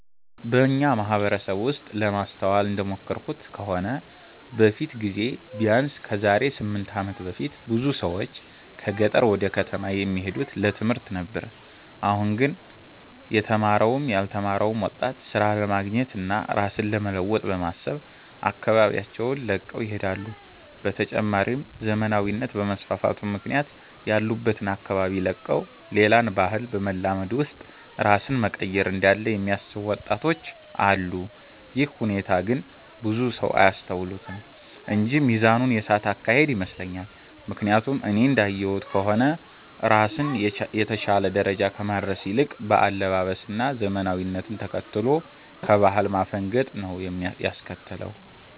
በኛ ማህበረሰብ ውስጥ ለማስተዋል እንደሞከርኩት ከሆነ በፊት ጊዜ ቢያነስ ከዛሬ 8 አመት በፊት ብዙ ሰዎች ከገጠር ወደ ከተማ የሚሄዱት ለትምህርት ነበር አሁን ላይ ግን የተማረውም ያልተማረው ወጣት ስራ ለማግኘት እና ራስን ለመለወጥ በማሰብ አካባቢያቸውን ለቀው ይሄዳሉ። በተጨማሪም ዘመናዊነት በመስፋፋቱ ምክንያት ያሉበትን አካባቢ ለቀው ሌላን ባህል በማላመድ ውስጥ ራስን መቀየር እንዳለ የሚያስቡ ወጣቶች አሉ። ይህ ሁኔታ ግን ብዙ ሰው አያስተውሉትም እንጂ ሚዛኑን የሳተ አካሄድ ይመስለኛል። ምክያቱም እኔ እንዳየሁት ከሆነ ራስን የተሻለ ደረጃ ከማድረስ ይልቅ በአለባበስ እና ዘመናዊነትን ተከትሎ ከባህል ማፈንገጥን ነው ያስከተለው።